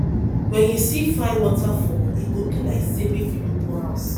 wen you see fine waterfall e go be like say make you no go house